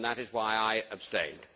That is why I abstained.